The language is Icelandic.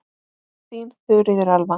Þín Þuríður Elva.